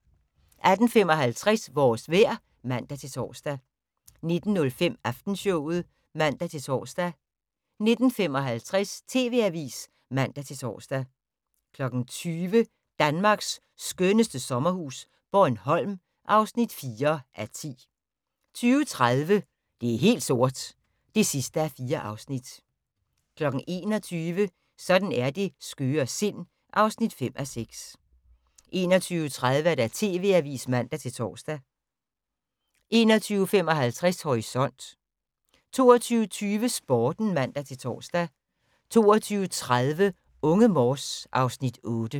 18:55: Vores vejr (man-tor) 19:05: Aftenshowet (man-tor) 19:55: TV Avisen (man-tor) 20:00: Danmarks skønneste sommerhus - Bornholm (4:10) 20:30: Det er helt sort (4:4) 21:00: Sådan er det skøre sind (5:6) 21:30: TV Avisen (man-tor) 21:55: Horisont 22:20: Sporten (man-tor) 22:30: Unge Morse (Afs. 8)